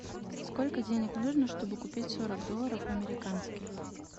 сколько денег нужно чтобы купить сорок долларов американских